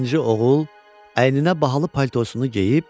İkinci oğul əyninə bahalı paltosunu geyib.